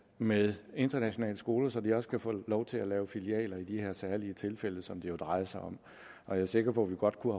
med internationale skoler så de også kan få lov til at lave filialer i de her særlige tilfælde som det jo drejer sig om og jeg er sikker på at vi godt kunne